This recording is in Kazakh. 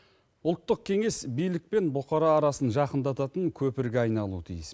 ұлттық кеңес билік пен бұқара арасын жақындататын көпірге айналуы тиіс